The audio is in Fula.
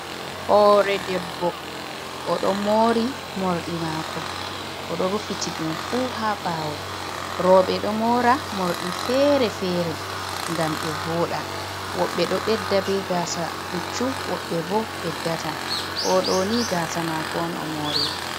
Hore debbo oɗo mori morɗi mako oɗo rufiti ɗum fu ha ɓawo roɓe ɗo mora morɗi fere-fere ngam ɓe voɗa woɓɓe ɗo ɓedda be gasa pucchu woɓɓe bo beddata oɗo ni gaasa mako on o moriri.